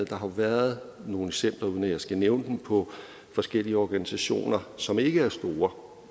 har været nogle eksempler uden at jeg skal nævne den på forskellige organisationer som ikke er store